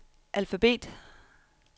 alfabet